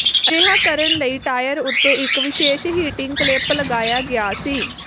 ਅਜਿਹਾ ਕਰਨ ਲਈ ਟਾਇਰ ਉੱਤੇ ਇੱਕ ਵਿਸ਼ੇਸ਼ ਹੀਟਿੰਗ ਕਲੈਪ ਲਗਾਇਆ ਗਿਆ ਸੀ